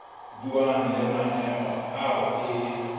buang le maemo ao e